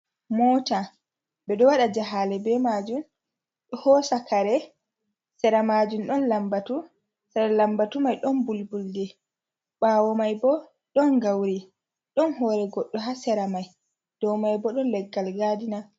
Mota ɓe ɗo waɗa jahale be majun, ɗo hosa kare sera majum ɗon lambatu, sera lambatu mai ɗon bul buldi, ɓawo mai bo ɗon gauri, ɗon hore goɗɗo ha sera mai, dou mai bo ɗon leggal gadina.